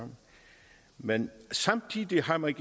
men samtidig har man